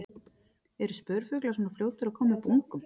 Eru spörfuglar svona fljótir að koma upp ungum?